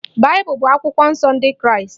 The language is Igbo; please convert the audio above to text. Baịbụl bụ akwụkwọ nsọ ndị kraịst